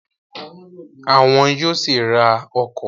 Àwọn yóò sì ra ọkọ̀